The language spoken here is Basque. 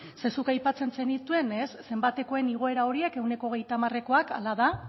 zeren zuk aipatzen zenituen zenbatekoen igoera horiek ehuneko hogeita hamarekoak hala da